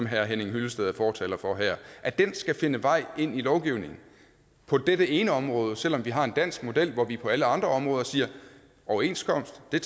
herre henning hyllested er fortaler for at den skal finde vej ind i lovgivningen på dette ene område selv om vi har en dansk model hvor vi på alle andre områder siger overenskomst er